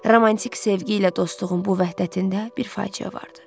Romantik sevgi ilə dostluğun bu vəhdətində bir faciə vardı.